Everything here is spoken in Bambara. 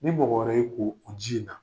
Ni mɔgɔ wɛrɛ y'i ko o ji in na.